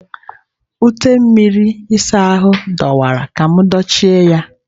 Ute mmiri ịsa ahụ adọwara ka m dochie ya.